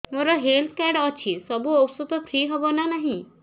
ମୋର health card ଅଛି ସବୁ ଔଷଧ ଫ୍ରି ହବ ନା ନାହିଁ